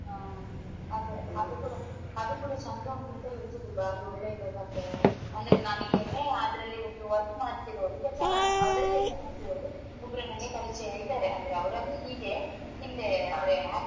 ಹಾ ಅದೆ ಅದು ಕೂಡ ಚಂದ ಉಂಟು ಅಂತ ಹೇಳ್ತಿದ್ರು ಬಾರಿ ಒಳ್ಳೆ ಇದೆ ಕಥೆ ಅಂದ್ರೆ ನನಗೆ ಅದ್ರಲ್ಲಿ ಒಬ್ರು work ಮಾಡ್ತಾ ಇರೋರು ಕೆಲ್ಸ ಮಾಡ್ತಾ ಅದ್ರಲ್ಲಿ ಕೆಲ್ಸ ಮಾಡ್ತಿರೋರು ಒಬ್ರು ನನಗೆ ಪರಿಚಯ ಇದಾರೆ ಅಂದ್ರೆ ಅವರಂದ್ರೆ ಹೀಗೆ ಹಿಂದೆ ಅಂದ್ರೆ act .